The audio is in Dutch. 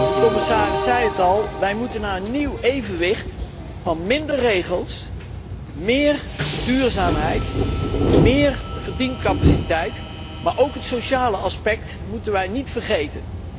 De commissaris zei het al wij moeten naar een nieuw evenwicht van minder regels, meer duurzaamheid, meer verdiencapaciteit, maar ook het sociale aspect moeten wij niet vergeten.